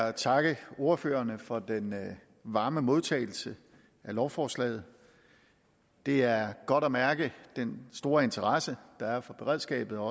at takke ordførerne for den varme modtagelse af lovforslaget det er godt at mærke den store interesse der er for beredskabet og